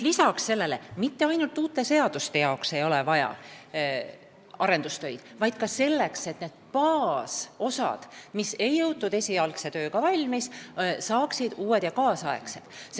Ja mitte ainult uute seaduste elluviimiseks ei ole vaja arendustöid, vaid ka selleks, et need baasosad, mida ei jõutud esialgse tööga valmis, saaksid uued ja kaasaegsed.